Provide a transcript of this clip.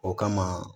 O kama